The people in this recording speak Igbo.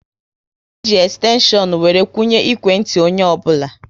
E ji ekstenshion were kwunye ikwe ntị onye ọbụla